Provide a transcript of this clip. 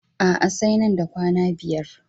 A'a, sai nan da kwana biyar.